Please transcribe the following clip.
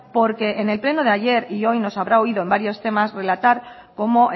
porque en el pleno de ayer y hoy nos habrá oído en varios temas relatar como